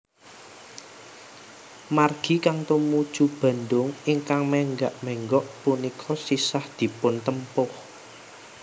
Margi kang tumuju Bandung ingkang menggak menggok punika sisah dipuntempuh